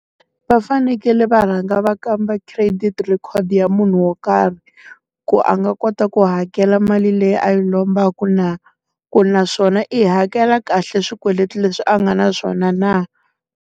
Va fanekele va rhanga va kamba credit record ya munhu wo karhi, ku a nga kota ku hakela mali leyi a yi lombaka na? Ku naswona i hakela kahle swikweleti leswi a nga na swona na?